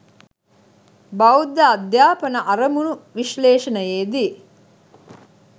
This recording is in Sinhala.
බෞද්ධ අධ්‍යාපන අරමුණු විශ්ලේෂණයේදී